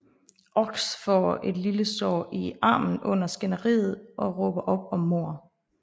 Ochs får et lille sår i armen under skænderiet og råber op om mord